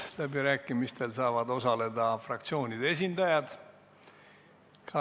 Läbirääkimistel saavad osaleda fraktsioonide esindajad.